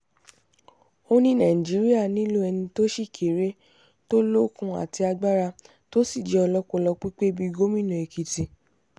ó ní nàìjíríà nílò ẹni tó sì kéré tó lókun àti agbára tó sì jẹ́ ọlọ́pọlọ pípé bíi gómìnà èkìtì